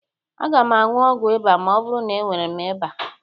Aga m aṅụ ọgwụ ịba ma ọ bụrụ na enwere m ịba.